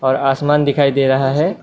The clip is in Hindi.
और आसमान दिखाई दे रहा है।